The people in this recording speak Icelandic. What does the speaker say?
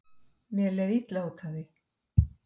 Mér leið illa út af því.